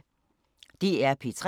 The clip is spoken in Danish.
DR P3